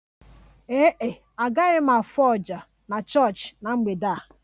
Ee e, agaghị m afụ oja na chọọchị na mgbede a